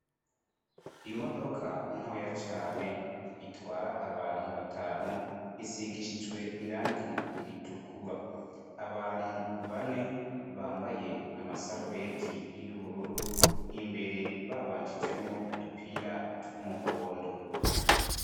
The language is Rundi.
Imodoka ntoya cane itwara abantu batanu isigishijwe irangi ritukura. Abantu bane bambaye amasarubeti y'ubururu, imbere babanjijemwo udupira tw'umuhondo.